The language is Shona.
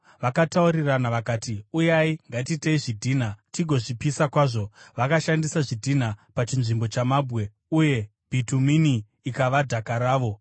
Vakataurirana vakati, “Uyai, ngatiitei zvidhina tigozvipisa kwazvo.” Vakashandisa zvidhina pachinzvimbo chamabwe, uye bhitumini ikava dhaka ravo.